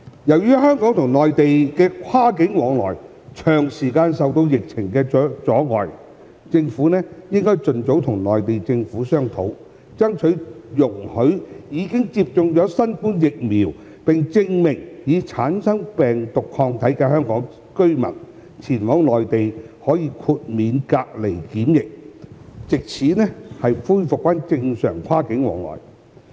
由於香港與內地的跨境往來長時間受到疫情阻礙，政府應盡早與內地政府商討，爭取容許已經接種新冠疫苗，並證明已產生病毒抗體的香港居民，前往內地可以豁免隔離檢疫，藉此恢復正常跨境往來。